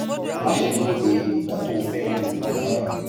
má ṣe dúró de ìgbà tó o fẹ lo oògùn náà